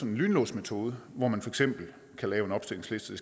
en lynlåsmetode hvor man for eksempel kan lave en opstillingsliste